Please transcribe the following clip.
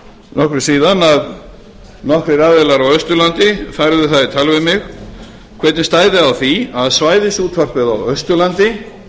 nokkru síðan að nokkrir aðilar á austurlandi færðu það í tal við mig hvernig stæði á því að svæðisútvarpið á austurlandi